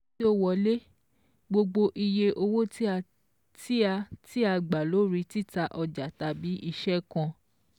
Owó tí ó wọlé: Gbogbo iye owó tí a tí a gbà lórí títa ọjà tàbí iṣẹ́ kan.